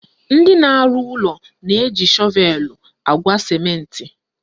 Ndị na-arụ ụlọ na-eji shọvelu agwa sịmentị